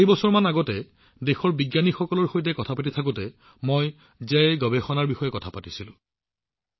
কেইবছৰমান আগতে দেশৰ বিজ্ঞানীসকলৰ সৈতে কথা পাতি থাকোতে মই জয় অনুসন্ধানৰ বিষয়ে কথা পাতিছিলো